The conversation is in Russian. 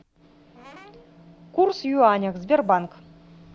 курс юаня сбербанк